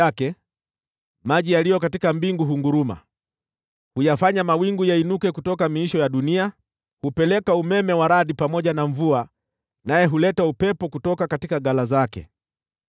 Atoapo sauti yake, maji yaliyo katika mbingu hunguruma; huyafanya mawingu yainuke kutoka miisho ya dunia. Hupeleka umeme wa radi pamoja na mvua, naye huuleta upepo kutoka ghala zake.